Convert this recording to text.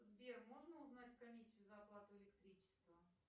сбер можно узнать комиссию за оплату электричества